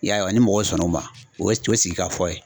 I y'a ye wa ni mɔgɔw sɔnna o ma o ye sigikafɔ ye.